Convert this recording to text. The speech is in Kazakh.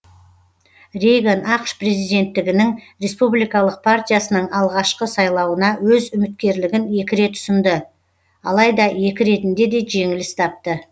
рейган ақш президенттігінің республикалық партиясының алғашқы сайлауына өз үміткерлігін екі рет ұсынды алайда екі ретінде де жеңіліс тапты